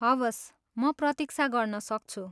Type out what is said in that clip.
हवस्। म प्रतिक्षा गर्न सक्छु।